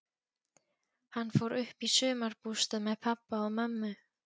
Hann fór uppí sumarbústað með pabba og mömmu.